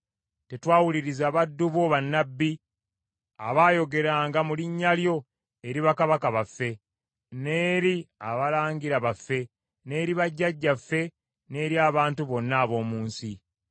tetwawuliriza baddu bo bannabbi, abaayogeranga mu linnya lyo eri bakabaka baffe, n’eri abalangira baffe, n’eri bajjajjaffe, n’eri abantu bonna ab’omu nsi.